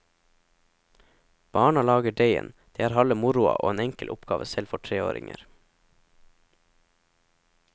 Barna lager deigen, det er halve moroa og en enkel oppgave selv for treåringer.